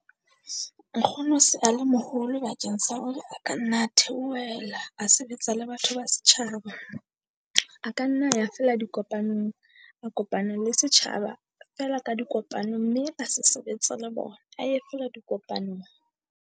Nkgono se a le moholo bakeng sa hore a ka nna theohela a sebetsa le batho ba setjhaba. A ka nna ya feela dikopanong, a kopana le setjhaba feela ka dikopano mme a se sebetsa le bona a ye feela dikopanong.